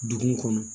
Dugu kɔnɔ